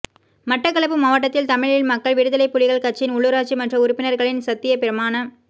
மட்டக்களப்பு மாவட்டத்தில் தமிழ் மக்கள் விடுதலைப் புலிகள் கட்சியின் உள்ளூராட்சி மன்ற உறுப்பினர்களின் சத்தியப் பிரமாண